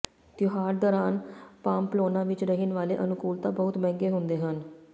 ਤਿਉਹਾਰ ਦੌਰਾਨ ਪਾਮਪਲੋਨਾ ਵਿਚ ਰਹਿਣ ਵਾਲੇ ਅਨੁਕੂਲਤਾ ਬਹੁਤ ਮਹਿੰਗੇ ਹੁੰਦੇ ਹਨ